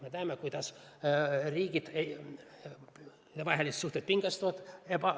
Me näeme, kuidas riikidevahelised suhted pingestuvad.